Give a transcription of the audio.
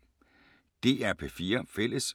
DR P4 Fælles